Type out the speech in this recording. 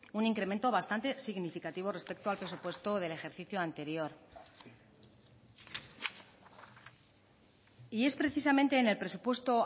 un incremento bastante significativo respecto al presupuesto del ejercicio anterior y es precisamente en el presupuesto